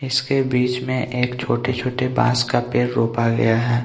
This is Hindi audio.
इसके बीच में एक छोटे-छोटे बांस का पेर रोपा गया है.